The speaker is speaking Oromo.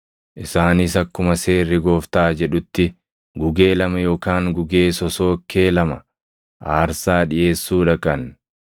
Isaanis akkuma Seerri Gooftaa jedhutti, “Gugee lama yookaan gugee sosookkee lama” + 2:24 \+xt Lew 12:8\+xt* aarsaa dhiʼeessuu dhaqan.